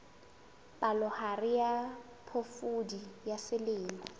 palohare ya phofudi ya selemo